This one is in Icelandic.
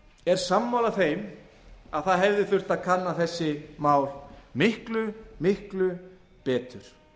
er sammála þeim að það hefði þurft að kanna þessi mál miklu miklu betur